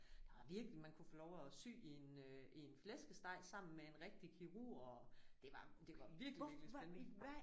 Der var virkelig man kunne få lov at sy i en øh i en flæskesteg sammen med en rigtig kirurg og det var det var virkelig virkelig spændende